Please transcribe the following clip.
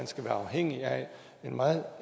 skal være afhængige af en meget